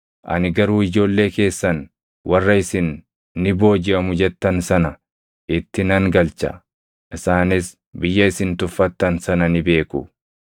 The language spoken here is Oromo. Ani garuu ijoollee keessan warra isin ni boojiʼamu jettan sana itti nan galcha; isaanis biyya isin tuffattan sana ni beeku.